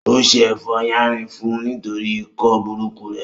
Ó se ẹ̀fọ́ yánrin fún un nítorí ikọ́ burúkú rẹ̀